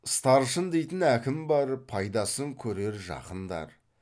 старшын дейтін әкім бар пайдасын көрер жақындар